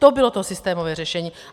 To bylo to systémové řešení.